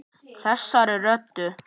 Þessari rottu.